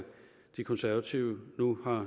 de konservative nu har